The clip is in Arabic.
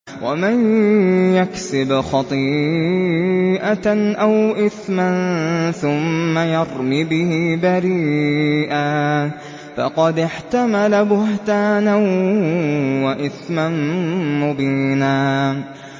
وَمَن يَكْسِبْ خَطِيئَةً أَوْ إِثْمًا ثُمَّ يَرْمِ بِهِ بَرِيئًا فَقَدِ احْتَمَلَ بُهْتَانًا وَإِثْمًا مُّبِينًا